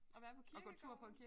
At være på kirkegårde?